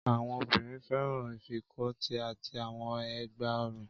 Àwọn obìnrin fẹ́ràn ìfikọ́tí àti àwọn ẹ̀gbá-ọrùn.